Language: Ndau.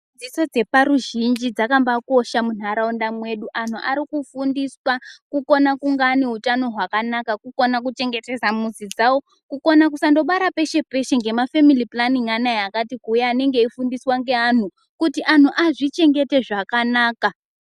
Dzidzo dzeparuzhinji dzakabakosha muntaraunda mwedu antu arikufundiswa kukona ane hutano hwakanaka Kukona kuchengetedza muzi dzawo, kukona kusangobara peshe peshe nemafemili pulaningi Anya akati kuuya anenge eifundiswa ngeantu kuti antu azvichengete zvakanaka.